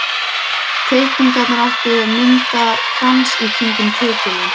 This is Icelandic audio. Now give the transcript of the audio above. Teikningarnar áttu að mynda krans í kringum titilinn.